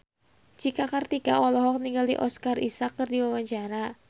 Cika Kartika olohok ningali Oscar Isaac keur diwawancara